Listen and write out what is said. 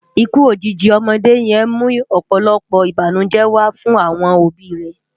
Ikú ójiji òmòdé yèn mú òpòlòpò ibánújè wá fun awòn óbi è